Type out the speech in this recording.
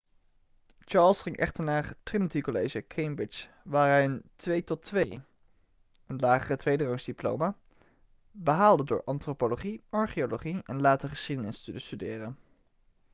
charles ging echter naar trinity college cambridge waar hij een 2:2 een lagere tweederangsdiploma behaalde door antropologie archeologie en later geschiedenis te studeren